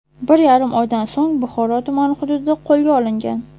bir yarim oydan so‘ng Buxoro tumani hududida qo‘lga olingan.